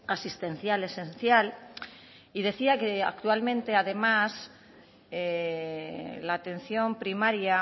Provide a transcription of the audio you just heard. asistencial esencial y decía que actualmente además la atención primaria